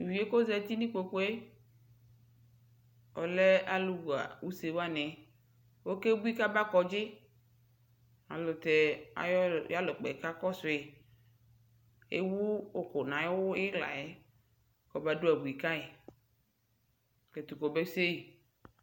Tu uvi ku ɔza nu kpokpu yɛ ɔlɛ alu ɣa usewani okebui ku aba kɔdzi alu tɛ ayu alukpɛ kakɔsu yi Ewu uku nu ayu iɣla yɛ kɔbadu abui ka yi ku ɛtu kɔbese yi